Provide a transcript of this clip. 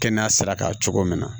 Kɛnɛya sira kan cogo min na